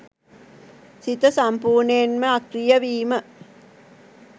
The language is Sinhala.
සිත සම්පූර්ණයෙන්ම අක්‍රීය වීම.